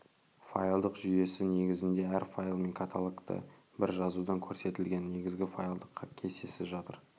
файлдық жүйесі негізінде әр файл мен каталогты бір жазудан көрсетілген негізгі файлдық кестесі жатыр